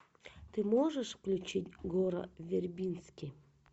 ты можешь включить гора вербински